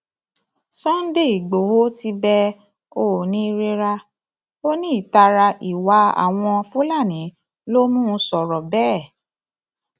sunday igboro ti bẹ oonírera ó ní ìtara ìwà àwọn fúlàní ló mọn sọrọ bẹẹ